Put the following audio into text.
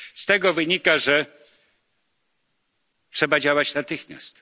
Z tego wynika, że trzeba działać natychmiast.